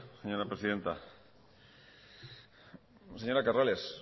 señora presidenta señora corrales